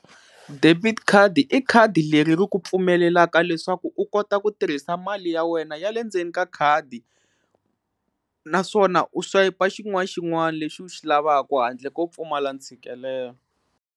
Debit card i khadi leri ri ku pfumelelaka leswaku u kota ku tirhisa mali ya wena ya le ndzeni ka khadi naswona u swayipa xin'wana xin'wana lexi u xi lavaka handle ko pfumala ntshikelelo.